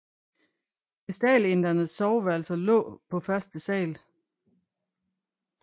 Vestalindernes soveværelser lå på første sal